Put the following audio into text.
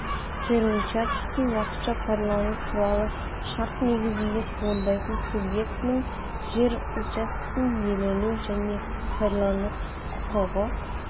жер учаскесін уақытша пайдалану туралы шарт негізінде туындайтын субъектінің жер учаскесін иелену және пайдалану құқығы